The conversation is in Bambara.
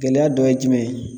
Gɛlɛya dɔ ye jumɛn ye